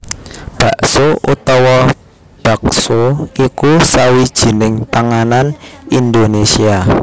Bakso utawa baxo iku sawijining panganan Indonésia